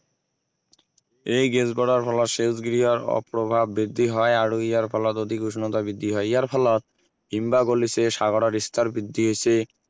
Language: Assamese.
এই গেছবোৰৰ ফলত সেউজগৃহৰ প্ৰভাৱ বৃদ্ধি হয় আৰু ইয়াৰ ফলত অধিক উষ্ণতা বৃদ্ধি হয় ইয়াৰ ফলত হিম বা গলিছে সাগৰৰ স্তৰ বৃদ্ধি হৈছে